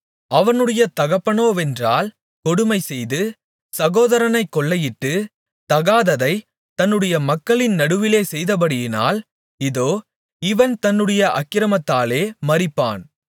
அவனுடைய தகப்பனோவென்றால் கொடுமைசெய்து சகோதரனைக் கொள்ளையிட்டு தகாததைத் தன்னுடைய மக்களின் நடுவிலே செய்தபடியினால் இதோ இவன் தன்னுடைய அக்கிரமத்திலே மரிப்பான்